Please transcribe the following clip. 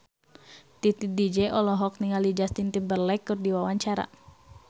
Titi DJ olohok ningali Justin Timberlake keur diwawancara